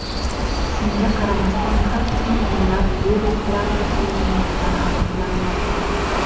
Shunga qaramasdan har kuni o‘nlab virus bilan kasallanganlar aniqlanmoqda.